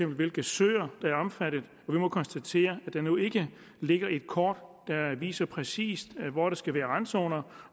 hvilke søer der er omfattet og vi må konstatere at der endnu ikke ligger et kort der viser præcis hvor der skal være randzoner